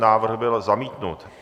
Návrh byl zamítnut.